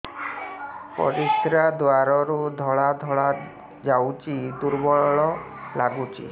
ପରିଶ୍ରା ଦ୍ୱାର ରୁ ଧଳା ଧଳା ଯାଉଚି ଦୁର୍ବଳ ଲାଗୁଚି